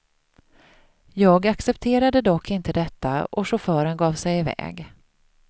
Jag accepterade dock inte detta och chauffören gav sig iväg.